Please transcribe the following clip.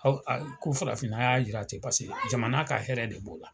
Ko farafinna y'a yira ten , paseke jamana ka hɛrɛ de b'o la.